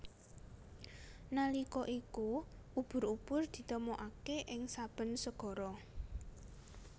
Nalika iku ubur ubur ditemokaké ing saben segara